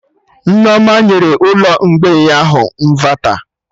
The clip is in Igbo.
Nneoma nyere ụlọ mgbei ahụ ịnvata